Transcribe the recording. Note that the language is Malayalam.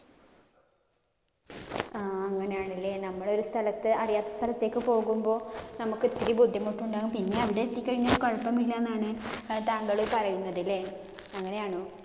ആഹ് അങ്ങിനെയാണല്ലേ. നമ്മളൊരു സ്ഥലത്തു അറിയാത്ത സ്ഥലത്തേക്ക് പോകുമ്പോ നമ്മുക്ക് ഇത്തിരി ബുദ്ധിമുട്ടുണ്ടാകും. പിന്നെ അവിടെ എത്തിക്കഴിഞ്ഞ കുഴപ്പമില്ലെന്നാണ് താങ്കള് പറയുന്നത് ലെ. അങ്ങിനെയാണോ?